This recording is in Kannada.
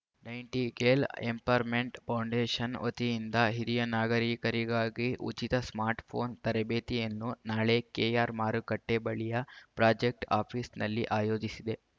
ನೈಂಟಿಗೇಲ್ ಎಂಪರ್‌ರ್ಮೆಂಟ್ ಫೌಂಡೇಶನ್ ವತಿಯಿಂದ ಹಿರಿಯ ನಾಗರೀಕರಿಗಾಗಿ ಉಚಿತ ಸ್ಮಾರ್ಟ್ ಫೋನ್ ತರಬೇತಿಯನ್ನು ನಾಳೆ ಕೆಆರ್ಮಾರುಕಟ್ಟೆ ಬಳಿಯ ಪ್ರಾಜೆಕ್ಟ್ ಆಫೀಸ್‌ನಲ್ಲಿ ಆಯೋಜಿಸಿದೆ